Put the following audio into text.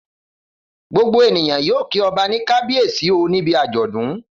Gbogbo ènìyàn yóò kí ọba ní Kábíyèsí o níbi àjọ̀dún.